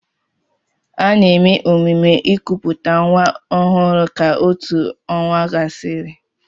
Ana-eme emume ikuputa nwa ọhụrụ ka otù ọnwa gasịrị.